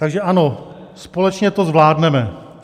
Takže ano, společně to zvládneme.